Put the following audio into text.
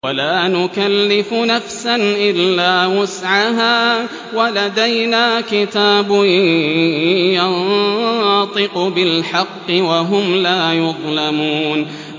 وَلَا نُكَلِّفُ نَفْسًا إِلَّا وُسْعَهَا ۖ وَلَدَيْنَا كِتَابٌ يَنطِقُ بِالْحَقِّ ۚ وَهُمْ لَا يُظْلَمُونَ